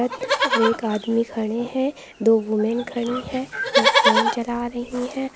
और एक आदमी खड़े हैं दो वुमेन खड़ी हैं वो फोन चला रही हैं।